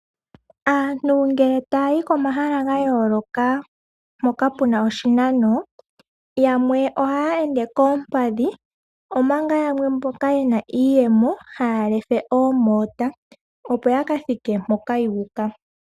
Aantu ngele taya yo komahala ga yooloka hoka ku na oshinano, yamwe ohaya ende koompadhi omanga yamwe mboka ye na iiyemo haya lefe oomoota opo ya kathike mpoka yuuka.